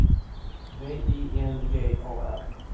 V I N G A R